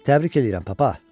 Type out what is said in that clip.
Təbrik edirəm, papa!